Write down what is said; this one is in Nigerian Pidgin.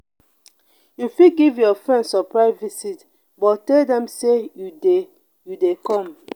you fit give your friend surprise visit but tell them say you de you de come